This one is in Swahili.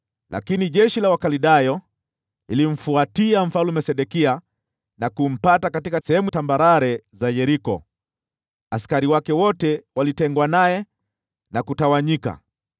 Lakini jeshi la Wakaldayo likamfuatia Mfalme Sedekia na kumpata katika sehemu tambarare za Yeriko. Askari wake wote wakatengwa naye na kutawanyika,